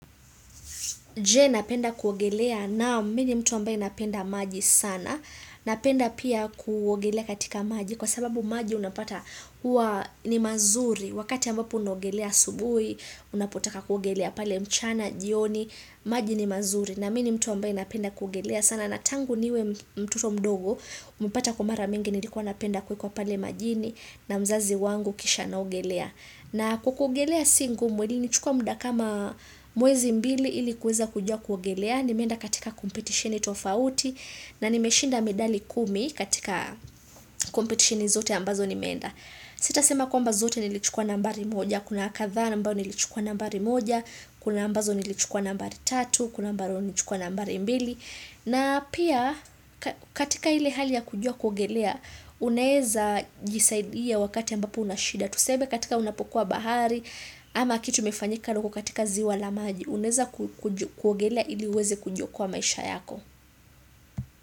Je napenda kuogelea naam mii ni mtu ambaye napenda maji sana. Napenda pia kuogelea katika maji kwa sababu maji unapata huwa ni mazuri. Wakati ambapo unaogelea asubui, unapotaka kuogelea pale mchana, jioni, maji ni mazuri. Na mini mtu ambaye napenda kuogelea sana. Natangu niwe mtoto mdogo, mpata kwa mara mingi nilikuwa napenda kuwekwa pale majini na mzazi wangu kisha naogelea. Na kwa kuogelea si ngumu ilinichukua muda kama mwezi mbili ili kuweza kujua kuogelea ni meenda katika kompetitioni tofauti na nimeshinda medali kumi katika kompetitioni zote ambazo nimeenda. Sita sema kwamba zote nilichukua nambari moja, kuna kadhaa na ambayo nilichukua nambari moja, kuna ambazo nilichukua nambari tatu, kuna ambazo nilichukua nambari mbili. Na pia katika ile hali ya kujua kuogelea, unaeza jisaidia wakati ambapo unashida. Tuseme katika unapokuwa bahari ama kitu imefanyika na uko katika ziwa la maji, unaweza kuogelea ili uweze kujiokoa maisha yako.